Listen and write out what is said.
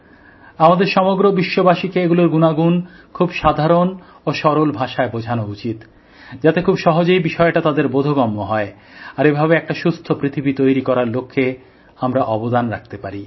আমাদের সমগ্র বিশ্ববাসীকে এগুলোর গুনাগুন খুব সাধারণ ও সরল ভাষায় বোঝানো উচিত যাতে খুব সহজেই বিষয়টা তাদের বোধগম্য হয় আর এভাবে একটা সুস্থ পৃথিবী তৈরি করার লক্ষ্যে আমরা অবদান করতে পারি